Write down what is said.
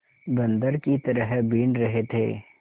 बंदर की तरह बीन रहे थे